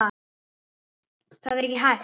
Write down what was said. Það er hægt!